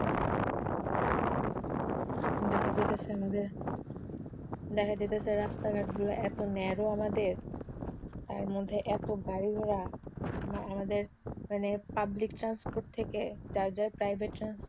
দেখা যাইতাছে রাস্তাঘাট গুলো এতো ন্যারো আমাদের, তার মধ্যে এতো গাড়িঘোড়া, আমাদের মানে পাবলিক ট্রান্সপোর্ট থেকে যার যার প্রাইভেট ট্রান্সপোর্ট